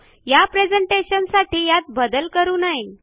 या प्रेझेंटेशनसाठी यात बदल करू नये